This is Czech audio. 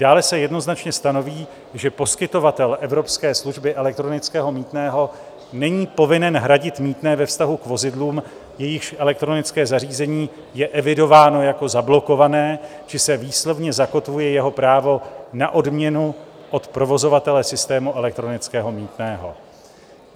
Dále se jednoznačně stanoví, že poskytovatel evropské služby elektronického mýtného není povinen hradit mýtné ve vztahu k vozidlům, jejichž elektronické zařízení je evidováno jako zablokované, či se výslovně zakotvuje jeho právo na odměnu od provozovatele systému elektronického mýtného.